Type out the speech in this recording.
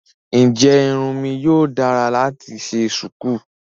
Ǹjẹ́ irun mi yíò dára láti ṣe ṣùkú?